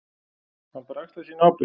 Hann bara axlar sína ábyrgð.